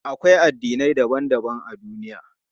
Akwai addinai daban daban a duniya.